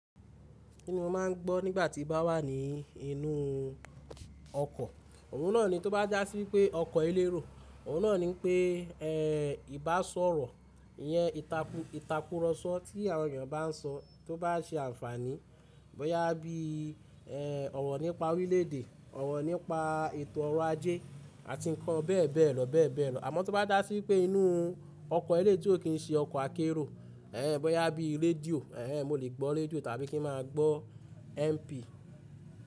Kíni mo máa ń gbọ́ nígbà tí mo bá wà ní inú ọkọ̀? Òhun náà ni tó bá dà sí wípé ọkọ̀ elérò, òhun náà ni pé, ẹ́ ìbá sọ̀rọ̀, ìyẹn ìtakùrọ̀sọ tí àwọn èèyàn bá ń sọ tó bá se àǹfààní, bọ́yá bí ẹ́ ọ̀rọ̀ nípa orílè èdè, ọ̀rọ̀ nípa ètò ọrọ̀ ajé àti ǹkan bẹ́ẹ̀ bẹ́ẹ̀ lọ bẹ́ẹ̀ bẹ́ẹ̀ lọ. Àmọ́ tó bá dà sí pé inú ọkọ̀ eléitò kìí ṣe ọkọ̀ akérò, ẹ́ bọ́yá bí i rédíò, ẹ́ mo lè gbọ́ rédíò tàbí kí n máa gbọ́ MP.